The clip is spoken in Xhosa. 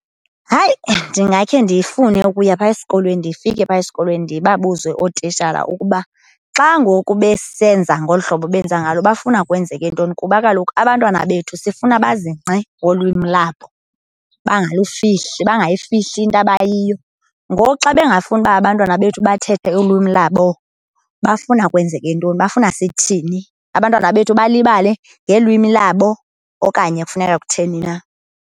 Hayi, ndingakhe ndifune ukuya phaa esikolweni, ndifike phaa esikolweni ndibabuze ootishala ukuba xa ngoku besenza ngolu hlobo benza ngalo bafuna kwenzeke ntoni. Kuba kaloku abantwana bethu sifuna bazingce ngolwimi labo bangalufihli, bangayifihli into abayiyo. Ngoku xa bengafuni uba abantwana bethu bathethe ulwimi labo bafuna kwenzeke ntoni, bafuna sithini? Abantwana bethu balibale ngelwimi labo, okanye kufuneka kutheni na.